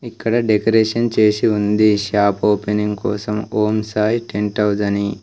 ఇక్కడ డెకరేషన్ చేసి ఉంది షాప్ ఓపెనింగ్ కోసం ఓం సాయి టెంట్ హౌజ్ అని.